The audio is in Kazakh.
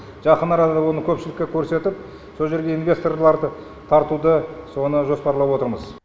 жақын арада оны көпшілікке көрсетіп со жерге инвесторлар тартуды соны жоспарлап отырмыз